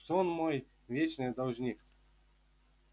что он мой вечный должник